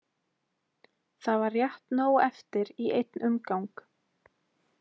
Það var rétt nóg eftir í einn umgang.